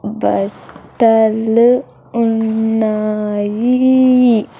బట్టలు ఉన్నాయి.